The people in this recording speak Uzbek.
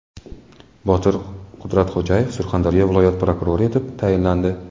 Botir Qudratxo‘jayev Surxondaryo viloyat prokurori etib tayinlandi.